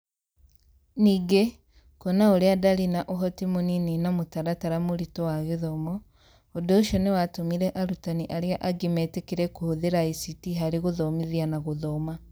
Ningĩ, kuona ũrĩa ndarĩ na ũhoti mũnini na mũtaratara mũritũ wa gĩthomo, ũndũ ũcio nĩ watũmire arutani arĩa angĩ metĩkĩre kũhũthĩra ICT harĩ gũthomithia na gũthoma